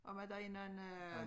Og var der en anden øh